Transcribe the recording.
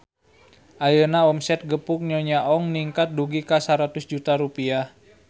Ayeuna omset Gepuk Nyonya Ong ningkat dugi ka 100 juta rupiah